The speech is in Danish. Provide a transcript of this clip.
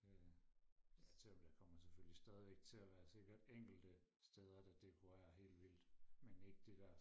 jaja ja der kommer selvfølgelig stadigvæk til og være sikkert enkelte steder der dekorerer helt vildt men ikke det der